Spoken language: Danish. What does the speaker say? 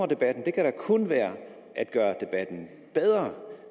debatten det kan da kun være at gøre den bedre